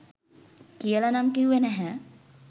කියලා නම් කිව්වේ නැහැ.